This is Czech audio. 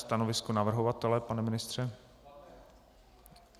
Stanovisko navrhovatele, pane ministře?